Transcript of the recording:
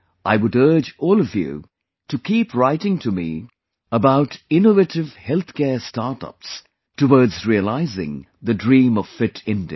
I would urge all of you to keep writing to me about innovative health care startups towards realizing the dream of Fit India